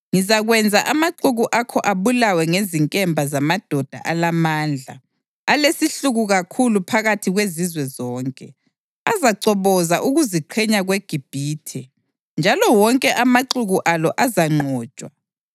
Ngizakwenza amaxuku akho abulawe ngezinkemba zamadoda alamandla alesihluku kakhulu phakathi kwezizwe zonke. Azachoboza ukuziqhenya kweGibhithe, njalo wonke amaxuku alo azanqotshwa.